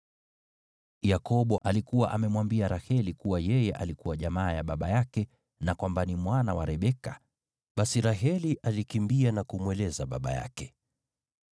Yakobo alikuwa amemwambia Raheli kuwa yeye alikuwa jamaa ya baba yake, na kwamba ni mwana wa Rebeka. Basi Raheli alikimbia na kumweleza baba yake.